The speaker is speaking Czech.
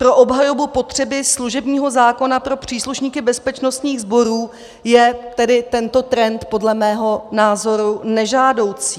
Pro obhajobu potřeby služebního zákona pro příslušníky bezpečnostních sborů je tedy tento trend podle mého názoru nežádoucí.